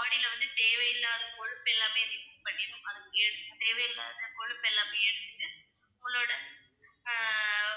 body ல வந்து தேவையில்லாத கொழுப்பு எல்லாமே பண்ணிடும். தேவையில்லாத கொழுப்பு எல்லாமே எடுத்துட்டு உங்களோட ஆஹ்